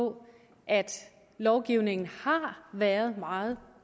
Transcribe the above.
på at lovgivningen har været meget